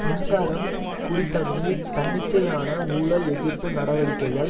மின்சாரம் குடி தண்ணீர் தன்னிச்சையான ஊழல் எதிர்ப்பு நடவடிக்கைகள்